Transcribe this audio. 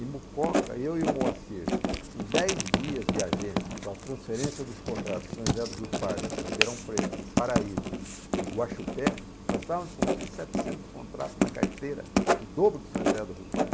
Em Mucoca, eu e o Moacir, em dez dias de agência, com a transferência dos contratos de São José do Rio Pardo, de Ribeirão Preto, de Paraíso, de Guaxupé, nós estávamos com mil e setecentos contratos na carteira, o dobro de São José do Rio Pardo.